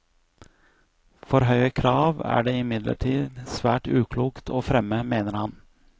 For høye krav er det imidlertid svært uklokt å fremme, mener han.